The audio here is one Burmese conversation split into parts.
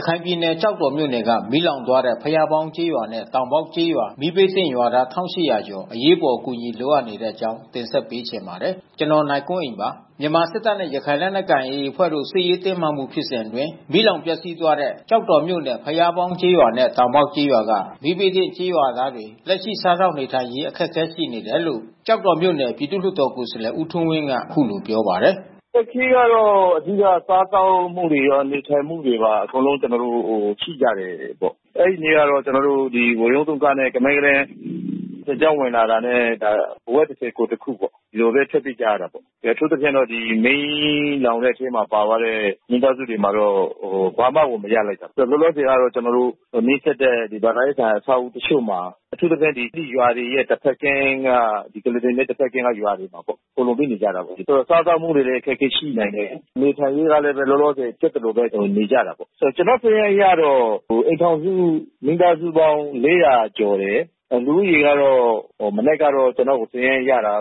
ရခိုင်ပြည်နယ် ကျောက်တော်မြို့နယ်က မီးလောင်သွားတဲ့ ဘုရားပေါင်းကျေးရွာနဲ့တောင်ပေါက်ကျေးရွာ မီးဘေးသင့်ရွာသား ၁,၈၀၀ ကျော် အရေးပေါ် အကူညီလိုအပ်နေတဲ့အကြောင်းတင်ဆက်ပေးချင်ပါတယ်။ ဗွီအိုအေမြန်မာပိုင်းသတင်းထောက် ကိုနိုင်ကွန်းအိန်က သတင်းပေးပို့ထားပါတယ်။ မြန်မာစစ်တပ်နဲ့ ရခိုင်လက်နက်ကိုင် AA အဖွဲ့တို့စစ်ရေးတင်းမာမှုဖြစ်စဉ်အတွင်း မီးလောင်ပျက်စီးသွားတဲ့ ကျောက်တော်မြို့နယ် ဘုရားပေါင်းကျေးရွာနဲ့ တောင်ပေါက်ကျေးရွာက မီးဘေးသင့်ရွာသားတွေ လက်ရှိစားသောက်နေ ထိုင်ရေးအခက်ခဲရှိနေတယ်လို့ ကျောက်တော်မြို့နယ် ပြည်သူလွှတ်တော်ကိုယ်စားလှယ် ဦးထွန်းဝင်းက အခုလိုပြောပါတယ်။ "အခက်ခဲကတော့ အဓိက စားသောက်မှုတွေရော၊ နေထိုင်မူတွေပါ အကုန်လုံး ကျနော်တို့ ရှိကြတယ်ပေါ့။ အဲဒီနေ့ကတော့ ကျနော်တို့ ဝရုန်းသုံးကားနဲ့ ကမန်းကတန်း စစ်ကြောင်းဝင်လာတာနဲ့ အဝတ်တထည် ကိုယ်တခုပေါ့... ဒီလိုပဲ ထွက်ပြေးကြတာပေါ့။ အထူးသဖြင့်တော့ မီးလောင်တဲ့အထဲမှာ ပါသွားတဲ့ မိသာစုတွေမှာတော့ ဘာမှကို မရလိုက်ဘူး။ လောလောဆယ်က ကျနော်တို့ နီးစပ်တဲ့ ဘာသာရေးဆိုင်ရာ အဆောက်အဦးတချို့မှာ အထူးသဖြင့် ရွာတွေရဲ့ တဘက်ကမ်းက ကုလားတန် မြစ်တဘက်ကမ်းက ရွာတွေမှာပေါ့... ခိုလှုံပြီးနေကြတာပေါ့။ ဆိုတော့ စားသောက်မှုတွေကလည်း အခက်ခဲရှိနိုင်တယ်။ နေထိုင်ရေးကလည်း လောလောဆယ် ဖြစ်သလိုပဲ နေကြတာပေါ့။ ကျနော့် စာရင်းအရတော့ အိမ်ထောင်စု မိသားစုပေါင်း ၄၀၀ ကျော်တယ်။ လူဦးရေကတော့ မနက်ကတော့ ကျနော်စာရင်းအရကတော့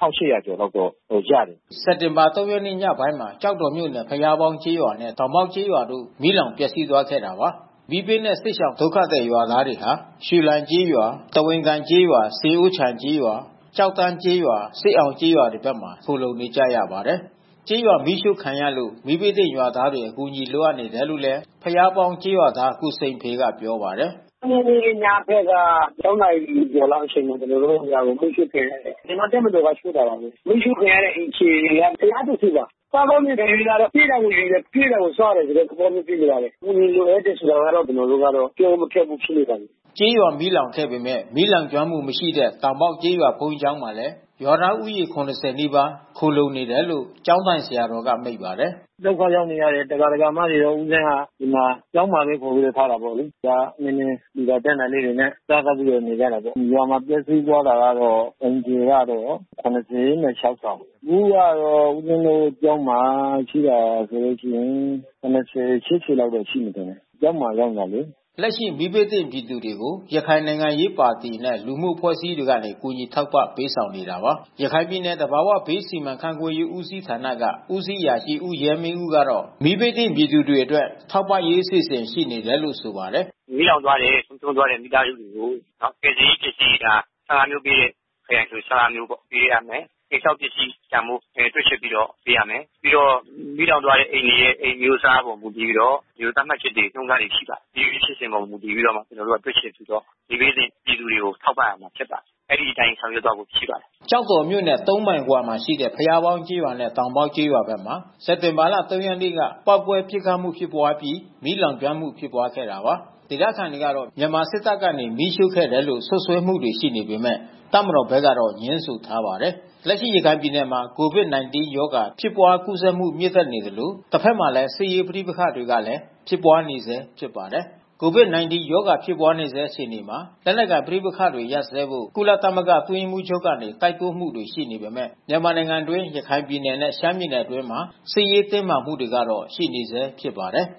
၁,၈၀၀ ကျော်လောက်ကတော့ ရတယ်။" စက်တင်ဘာ ၃ ရက်နေ့ ညပိုင်းမှာ ကျောက်တော်မြို့နယ် ဘုရားပေါင်းကျေးရွာနဲ့ တောင်ပေါက်ကျေးရွာတို့ မီးလောင် ပျက်စီးသွားခဲ့တာပါ။ မီးဘေးနဲ့ စစ်ရှောင်ဒုက္ခသည်ရွာသားတွေဟာ ရွှေလိုင်ကျေးရွာ၊ သဝင်ကိုင်ကျေးရွာ၊ ဆင်အိုးချိုင်ကျေးရွာ၊ ကျောက်တန်းကျေးရွာ၊ စစ်အောင်ကျေးရွာဘက်တွေမှာ ခိုလှုံနေကြရပါတယ်။ ကျေးရွာမီးရှို့ခံရလို့ မီးဘေးသင့်ရွာသားတွေ အကူညီလိုအပ်နေတယ်လို့ ဘုရားပေါင်းကျေးရွာသား ကိုစိန်ဖေကပြောပါတယ်။ "၃ ရက်နေ့ ညဘက်က ၆ နာရီကျော်ကျော်လောက်အချိန်မှာ ကျနော်တို့ ရွာ မီးရှို့ခံရတယ်။ မြန်မာ့တပ်မတော်က ရှို့တာပါ။ မီးရှို့ခံရတဲ့အိမ်ခြေက ၁၁၀ ပါ။ စားသောက်နေထိုင်ရေးကတော့ ပေးတာကို ယူတယ်၊ ကျွေးတာကို စားတဲ့ သဘောမျိုးဖြစ်နေပါတယ်။ အကူညီလိုအပ်တယ်ဆိုတာကတော့ ကျနော်ကတော့ ပြောဖို့မခက်ဘူး ဖြစ်နေပါတယ်။" ကျေးရွာမီးလောင်ခဲ့ပေမဲ့ မီးလောင်ကျွမ်းမှု မရှိတဲ့ တောင်ပေါက်ကျေးရွာဘုန်းကြီးကျောင်းမှာလည်း ရွာသားဦးရေ ၇၀ နီးပါး ခိုလှုံနေတယ်လို့ ကျောင်းထိုင်ဆရာတော်က မိန့်ပါတယ်။ "ဒုက္ခရောက်နေရတဲ့ ဒကာ၊ ဒကာမတွေကို ဦးဇင်က ဒီမှာကျောင်းမှာပဲ ကူညီထားတာပေါ့လေ။ ဒကာအချင်းချင်း လှူတာကမ်းတာလေးတွေနဲ့ စားသောက်ပြီးတော့ နေကြတာပေါ့။ ဒီရွာမှာ ပျက်စီးသွားတာကတော့ အိမ်ခြေကတော့ ၇၆ ဆောင် ဒီနေ့ကတော့ ဦးဇင်းရဲ့ ကျောင်းမှာ ရှိတာဆိုလိုရှိရင် ၇၀၊ ၈၀ လောက်တော့ရှိမယ်ထင်တယ်... ကျောင်းမှာ ရောက်နေတာလေ။" လက်ရှိမီးဘေးသင့်ပြည်သူတွေကို ရခိုင်နိုင်ငံရေးပါတီနဲ့ လူမှုအဖွဲ့အစည်းတွေကနေ ကူညီထောက်ပံ့ပေးဆောင်နေတာပါ။ ရခိုင်ပြည်နယ်၊ သဘာဝဘေးစီမံခန့်ခွဲရေးဦးစီးဌာနက ဦးစီးအရာရှိ ဦးရဲမင်းဦးကတော့ မီးဘေးသင့်ပြည်သူတွေအတွက် ထောက်ပံ့ရေး အစီအစဉ်ရှိနေတယ်လို့ ဆိုပါတယ်။ "မီးလောင်သွားတဲ့၊ သေဆုံးသွားတဲ့ မိသားစုတွေကို ကယ်ဆယ်ရေးပစ္စည်းတွေက ၁၅ မျိုးပေးတဲ့ ခရိုင်တွေဆို ၁၅ မျိုးပေါ့ပေးရမယ်။ အိမ်ဆောက်ပစ္စည်းတန်ဖိုး တွက်ချက်ပြီးတော့ ပေးရမယ်။ ပြီးတော့ မီးလောင်သွားတဲ့အိမ်တွေရဲ့ အိမ်အမျိုးအစားအပေါ် မူတည်ပြီးတော့ သတ်မှတ်ချက်တွေ၊ နှုန်းထားတွေ ရှိပါတယ်။ အဲဒီအခြေအပေါ်မူတည်ပြီးတော့ ကျနော်တို့ တွက်ချက်ပြီးတော့ မီးဘေးသင့်ပြည်သူတွေကို ထောက်ပံ့မယ်ဖြစ်ပါတယ်။ အဲဒီအတိုင်းဆောင်ရွက်သွားမှာ ဖြစ်ပါတယ်။" ကျောက်တော်မြို့နယ် ၃ မိုင်အကွာမှာရှိတဲ့ ဘုရားပေါင်းကျေးရွာနဲ့ တောင်ပေါက်ကျေးရွာဖက်မှာ စက်တင်ဘာ ၃ ရက်နေ့က ပေါက်ကွဲ ပစ်ခတ်မှု ဖြစ်ပွါးအပြီး မီးလောင်မှု ဖြစ်ပွါးခဲ့တာပါ။ ဒေသခံတွေကတော့ မြန်မာစစ်တပ်ကနေ မီးရှို့ခဲ့တယ်လို့ စွပ်စွဲမှုတွေ ရှိနေပေမဲ့ တပ်မတော်ဘက်ကတော့ ငြင်းဆိုထားပါတယ်။ လက်ရှိရခိုင်ပြည်နယ်မှာ COVID-19 ရောဂါ ဖြစ်ပွါးကူးစက်မှု မြင့်တက်နေသလို တဘက်မှာလည်း စစ်ရေးပဋိပက္ခကလည်း ဖြစ်ပွါးနေဆဲဖြစ်ပါတယ်။ COVID-19 ရောဂါ ဖြစ်ပွါးဆဲအခြေအနေမှာ လက်နက်ကိုင်ပဋိပက္ခတွေ ရပ်စဲဖို့ ကုလသမဂ္ဂအတွင်းရေးမှူးချုပ်ကနေ တိုက်တွန်းမှုတွေ ရှိနေပေမဲ့ မြန်မာနိုင်ငံအတွင်း ရခိုင်ပြည်နယ်နဲ့ ရှမ်းပြည်နယ်အတွင်းမှာ စစ်ရေးတင်းမာမှုကတော့ ရှိနေဆဲဖြစ်ပါတယ်။